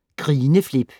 Grineflip